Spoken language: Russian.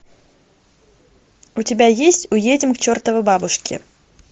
у тебя есть уедем к чертовой бабушке